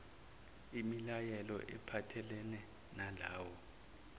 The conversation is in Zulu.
imilayelo ephathelene nalawo